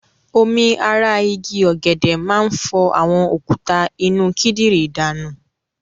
Omi ara igi ọ̀gẹ̀dè máa ń fọ àwọn òkúta inú kídìrí danù.